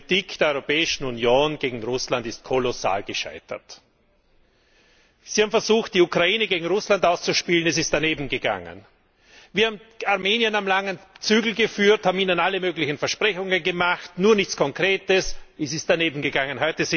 Die Politik der Europäischen Union gegen Russland ist kolossal gescheitert. Sie haben versucht, die Ukraine gegen Russland auszuspielen, es ist danebengegangen. Wir haben Armenien am langen Zügel geführt, haben ihnen alle möglichen Versprechungen gemacht, nur nichts Konkretes, es ist danebengegangen.